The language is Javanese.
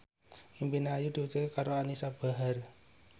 impine Ayu diwujudke karo Anisa Bahar